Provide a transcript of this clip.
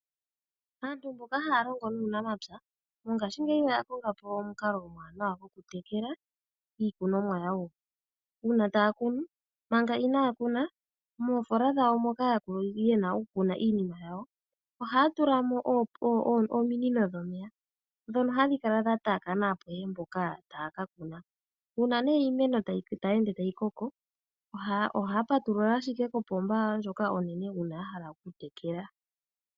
Aantu mboka haya longo nuunamapya, mongaashingeyi oya konga po omukalo omwaanawa gwokutekela iikunomwa yawo. Uuna taa kunu manga inaya kuna, moofola dhawo moka ye na okukuna iinima yawo, ohaa tula mo ominino dhomeya ndhono hadhi kala dha taakana apehe mpoka taya ka kuna. Uuna ne iimeno tayi ende tayi koko, ohaa patulula shike kopomba yawo ndyoka onene uuna ya hala okutekela.